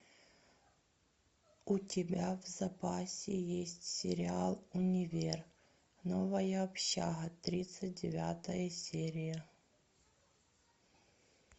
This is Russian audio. у тебя в запасе есть сериал универ новая общага тридцать девятая серия